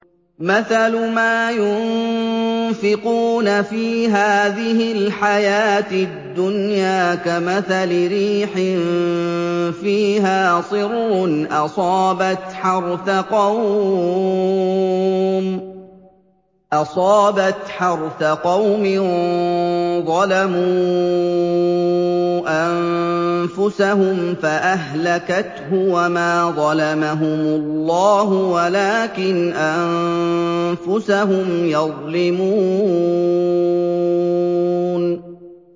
مَثَلُ مَا يُنفِقُونَ فِي هَٰذِهِ الْحَيَاةِ الدُّنْيَا كَمَثَلِ رِيحٍ فِيهَا صِرٌّ أَصَابَتْ حَرْثَ قَوْمٍ ظَلَمُوا أَنفُسَهُمْ فَأَهْلَكَتْهُ ۚ وَمَا ظَلَمَهُمُ اللَّهُ وَلَٰكِنْ أَنفُسَهُمْ يَظْلِمُونَ